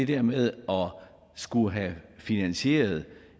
det med at skulle have finansieret